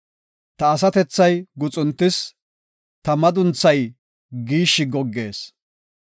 Ta asatethay guxuntis; ta madunthay giishshi goggees.